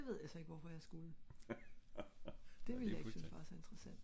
ja det ved jeg så ikke hvorfor jeg skulle det ville jeg ikke synes var så interessant